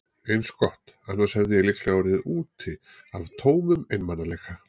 Eins gott, annars hefði ég líklega orðið úti af tómum einmanaleika.